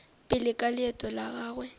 pele ka leeto la gagwe